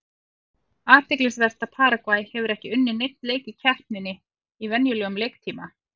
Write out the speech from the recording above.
Athyglisvert er að Paragvæ hefur ekki unnið neinn leik í keppninni í venjulegum leiktíma.